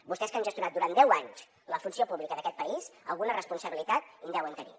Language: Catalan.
vostès que han gestionat durant deu anys la funció pública d’aquest país alguna responsabilitat hi deuen tenir